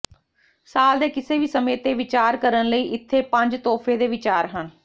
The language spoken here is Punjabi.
ਸਾਲ ਦੇ ਕਿਸੇ ਵੀ ਸਮੇਂ ਤੇ ਵਿਚਾਰ ਕਰਨ ਲਈ ਇੱਥੇ ਪੰਜ ਤੋਹਫ਼ੇ ਦੇ ਵਿਚਾਰ ਹਨ